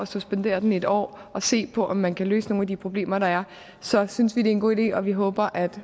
suspendere den et år og se på om man kan løse nogle af de problemer der er så synes vi det er en god idé og vi håber at